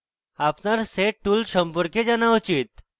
আপনার sed tool সম্পর্কে জানা উচিত